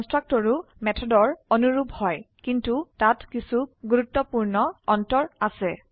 কনস্ট্ৰাক্টৰও মেথডৰ অনুৰুপ হয় কিন্তু তাত কিছু গুৰুত্বপূৰ্ণ তফাৎ আাছে